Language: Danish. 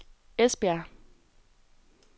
Esbjerg